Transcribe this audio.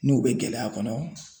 N'u be gɛlɛya kɔnɔ